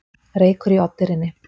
Reykur í Oddeyrinni